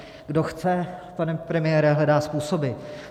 Kdo chce, pane premiére, hledá způsoby.